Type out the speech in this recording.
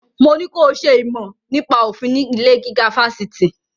Mo ní ko ṣe ìmọ̀ nípa òfin ní ilé-gíga fásitì!